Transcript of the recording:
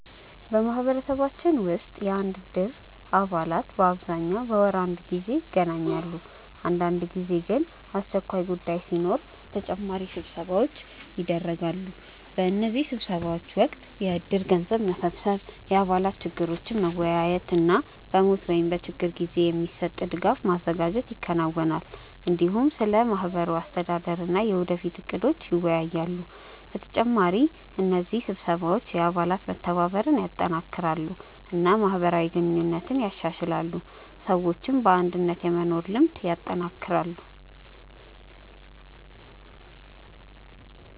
በማህበረሰባችን ውስጥ የእድር አባላት በአብዛኛው በወር አንድ ጊዜ ይገናኛሉ። አንዳንድ ጊዜ ግን አስቸኳይ ጉዳይ ሲኖር ተጨማሪ ስብሰባዎች ይደርሳሉ። በእነዚህ ስብሰባዎች ወቅት የእድር ገንዘብ መሰብሰብ፣ የአባላት ችግሮችን መወያየት እና በሞት ወይም በችግር ጊዜ የሚሰጥ ድጋፍ ማዘጋጀት ይከናወናል። እንዲሁም ስለ ማህበሩ አስተዳደር እና የወደፊት እቅዶች ይወያያሉ። በተጨማሪ እነዚህ ስብሰባዎች የአባላት መተባበርን ያጠናክራሉ እና ማህበራዊ ግንኙነትን ያሻሽላሉ፣ ሰዎችም በአንድነት የመኖር ልምድ ያጠናክራሉ።